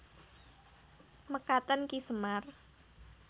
Mekaten Ki Semar